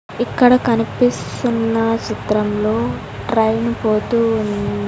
ఇక్కడ కనిపిస్తున్న చిత్రంలో ట్రైన్ పోతువున్--